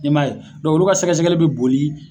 I m'a ye olu ka sɛgɛsɛgɛ bi boli